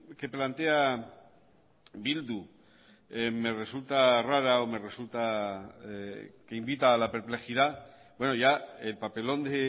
que plantea bildu me resulta rara o me resulta que invita a la perplejidad bueno ya el papelón de